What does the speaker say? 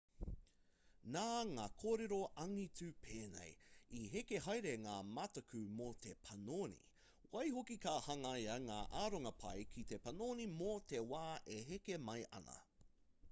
nā ngā kōrero angitu pēnei i heke haere ngā mataku mō te panoni waihoki ka hangaia ngā aronga pai ki te panoni mō te wā e heke mai ana